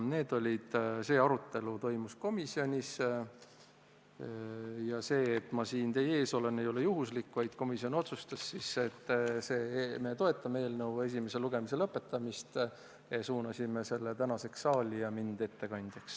Selline arutelu toimus komisjonis ja see, et ma siin teie ees olen, ei ole juhuslik, vaid komisjon otsustas, et me toetame eelnõu esimese lugemise lõpetamist, suuname selle tänaseks saali ja määrame minu ettekandjaks.